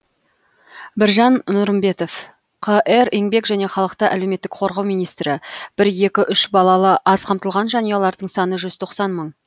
біржан нұрымбетов қр еңбек және халықты әлеуметтік қорғау министрі бір екі үш балалы аз қамтылған жанұялардың саны жүз тоқсан мың